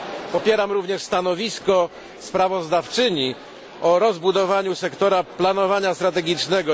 Popieram również stanowisko sprawozdawczyni o rozbudowaniu sektora planowania strategicznego.